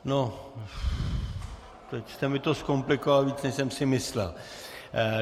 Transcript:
No, teď jste mi to zkomplikoval víc, než jsem si myslel.